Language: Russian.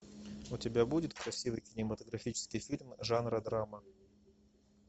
у тебя будет красивый кинематографический фильм жанра драма